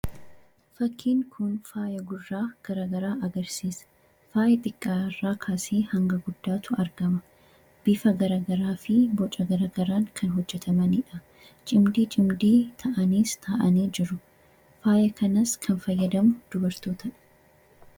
fakkiin kun faaya gurraa garagaraa agarsiisa faaya xiqqarraa kaasii hanga guddaatu argama biifa garagaraa fi boca garagaraan kan hojjetamaniidha cimdii cimdii ta'aniis ta'anii jiru faayya kanas kan fayyadamu dubartootadha